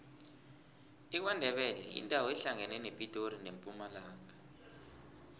ikwandebele yindawo ehlangana nepitori nempumalanga